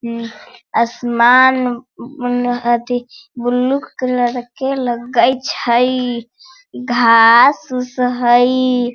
उम असमान उन अथी ब्लू कलर के लगै छई घास-उस हई।